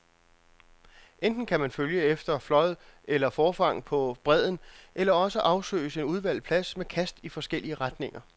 Enten kan man følge efter flåd eller forfang på bredden, eller også afsøges en udvalgt plads med kast i forskellige retninger.